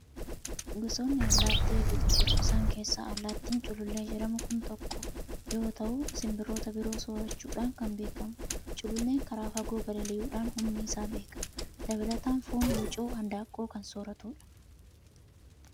Gosootni allaatti hedduutu jiru. Isaan keessaa allaattiin culuullee jedhamu kun tokko yoo ta'u, simbiroota biroo soorachuudhan kan beekamudha. Culuulleen karaa fagoo balalii'uudhaan humni isaa beekama. Dabalataan, foon wucoo handaaqqoo kan sooratudha.